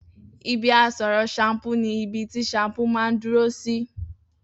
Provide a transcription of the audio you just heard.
Ibi àsoró shampúú ni ibi tí shampúú mà n duró sí